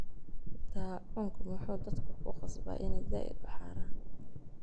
Daacunka muxu dadka kuqasbaa ina zaid uuharan.